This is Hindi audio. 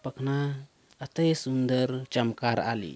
पखना अते सुंदर चमकार आली--